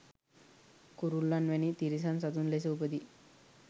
කුරුල්ලන් වැනි තිරිසන් සතුන් ලෙස උපදී.